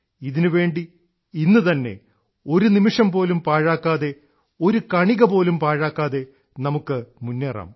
ഇതിനുവേണ്ടി ഇന്നുതന്നെ ഒരു നിമിഷംപോലും പാഴാക്കാതെ ഒരു കണികപോലും പാഴാക്കാതെ നമുക്ക് മുന്നേറാം